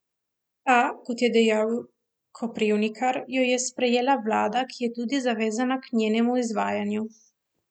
A, kot je dejal Koprivnikar, jo je sprejela vlada, ki je tudi zavezana k njenemu izvajanju.